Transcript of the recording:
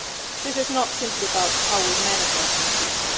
So this is not simply about how we manage our frontiers.